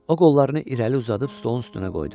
O qollarını irəli uzadıb stolun üstünə qoydu.